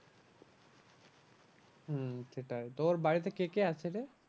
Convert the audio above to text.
হম সেটাই তো ওর বাড়িতে কে কে আছে রে?